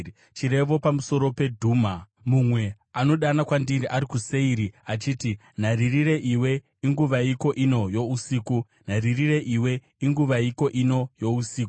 Chirevo pamusoro peDhuma: Mumwe anodana kwandiri ari kuSeiri, achiti, “Nharirire iwe, inguvaiko ino yousiku? Nharirire iwe, inguvaiko ino yousiku?”